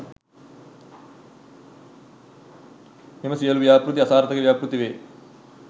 මේ සියලුම ව්‍යාපෘති අසාර්ථක ව්‍යාපෘතිවේ